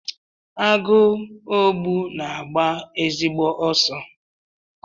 Agụogbu na-agba ezigbo ọsọ.